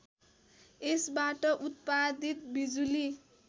यसबाट उत्पादित बिजुली